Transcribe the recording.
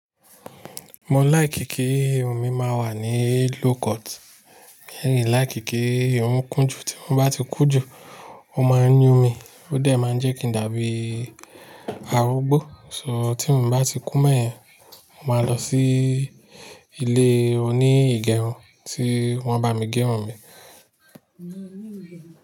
Mo like kí omi máa wà ní low court, mi like kí ómi kún jù. Tí omi bá ti kún jù, ó máa yún mi, ó dẹ̀ máa n jẹ́ kí i dàbí arugbó. So tí omi bá ti kún be yẹ̀n, mo máa lọ sí ilé oní ìgẹrun tí wọ́n bá mi gé irun mi.